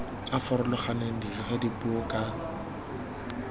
a farologaneng dirisa puo ka